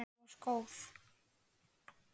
Þú varst góð.